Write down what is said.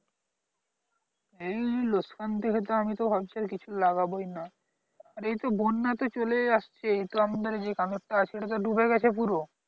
এমনি লোকসান দেখে আমি তো ভাবছি আর কিছু লাগাবোই না আর এই তো বন্যা তো চলেই আসছে তো আমাদের যে কানাট টা আছে সেটা তো ডুবে গেছে পুরো